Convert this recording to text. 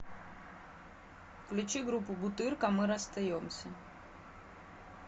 включи группу бутырка мы расстаемся